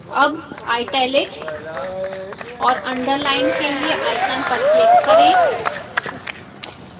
अब italics और underline के लिए icons पर click करें